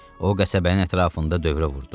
O qəsəbənin ətrafında dövrə vurdu.